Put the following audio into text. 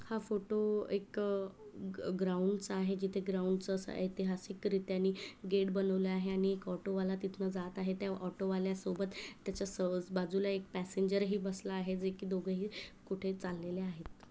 हा फोटो एक ग्राऊंड चा आहे. जिथे ग्राऊंड अस ऐतिहासिक रित्याने गेट बनवला आहे आणि एक ऑटो वाला तिथन जात आहे. त्या ऑटो वाल्या सोबत त्याच्या सोबत बाजूला एक पॅसेंजर ही बसलेला आहेत जे की दोघही कुठे चाललेले आहेत.